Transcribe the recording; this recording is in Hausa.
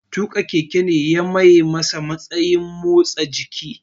Tuƙin keke ne ya maye masa matsayin motsa jiki